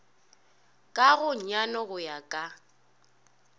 ka gonyane go ya ka